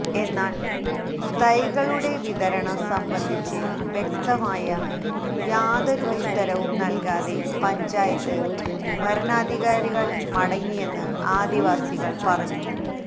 എന്നാല് തൈകളുടെ വിതരണം സംബന്ധിച്ച് വ്യക്തമായ യാതൊരു ഉത്തരവും നല്കാതെ പഞ്ചായത്ത് ഭരണാധികാരികള് മടങ്ങിയെന്ന് ആദിവാസികള് പറഞ്ഞു